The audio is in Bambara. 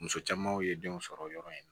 Muso camanw ye denw sɔrɔ yɔrɔ in na